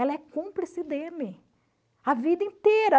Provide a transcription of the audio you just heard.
Ela é cúmplice dele a vida inteira.